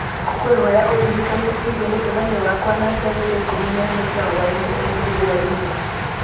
ngũkwĩhoya ũndirikanie ciĩgiĩ mũcemanio wakwa na njeri thaa ikũmi na ĩmwe cia hwaĩ-inĩ ũmũthĩ hwaĩ-inĩ